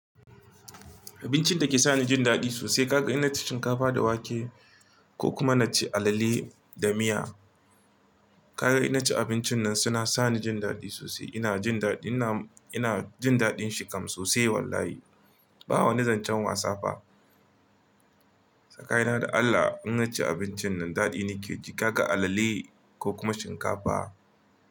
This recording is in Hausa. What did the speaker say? Abincin da ke sa ni jin daɗi sosai, ka ga in naci shinkafa da wake ko kuma na ci alale da miya. Ka ga ina ci abincin nan suna sa ni jin daɗi sosai. Ina jin daɗi, ina, ina jin daɗin shi kam sosai wallahi. Ba wani zancen wasa fa. Tsakanina da Allah in ci abincin nan daɗi ne ke ji. Ka ga alale ko kuma shinkafa.